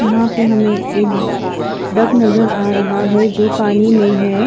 यहाँ पे हमे एक डक नज़र आ रहा है जो पानी में है।